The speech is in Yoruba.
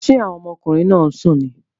Ṣé àwọn ọmọkùnrin náà ń sùn ni?